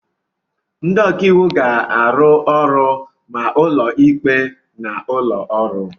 Ndị ọka iwu ga-arụ ọrụ ma n'ụlọ ikpe na ụlọ ọrụ